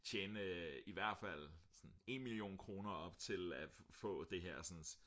tjene i hvert fald 1 million kroner op til at få det her